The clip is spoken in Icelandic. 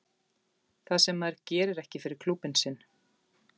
Það sem að maður gerir ekki fyrir klúbbinn sinn.